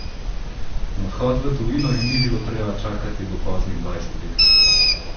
Na odhod v tujino jim ni bilo treba čakati do poznih dvajsetih.